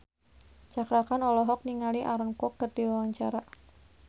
Cakra Khan olohok ningali Aaron Kwok keur diwawancara